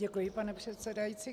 Děkuji, pane předsedající.